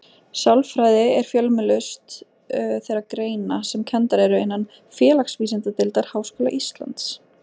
Sálfræði er fjölmennust þeirra greina sem kenndar eru innan Félagsvísindadeildar Háskóla Íslands.